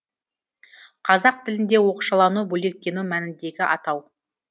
қазақ тілінде оқшалану бөлектену мәніндегі атау